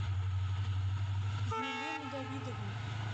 елену давидовну